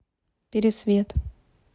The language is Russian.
пересвет